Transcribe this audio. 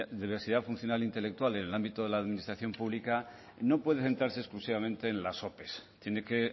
diversidad funcional intelectual en el ámbito de la administración pública no puede centrarse exclusivamente en las ope tiene que